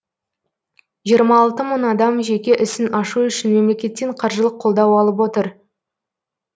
жиырма алты мың адам жеке ісін ашу үшін мемлекеттен қаржылық қолдау алып отыр